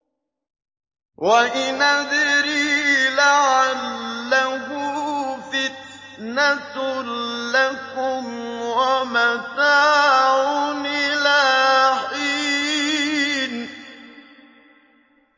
وَإِنْ أَدْرِي لَعَلَّهُ فِتْنَةٌ لَّكُمْ وَمَتَاعٌ إِلَىٰ حِينٍ